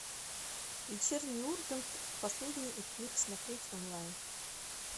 вечерний ургант последний эфир смотреть онлайн